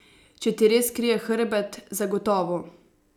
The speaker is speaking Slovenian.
Če ti res krije hrbet, zagotovo.